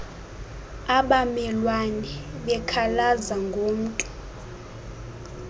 abamelwane bekhalaza ngomntu